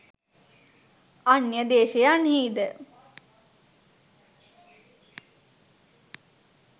අන්‍ය දේශයන්හිද